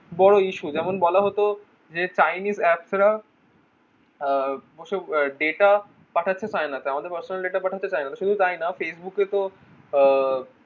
বড়ো issue যেমন বলা হতো যে chinese apps রা আহ বসে delta পাঠাতে চায় না তো তাদের personal delta পাঠাতে চায় না তো শুধু তাই নয় facebook এ তো আহ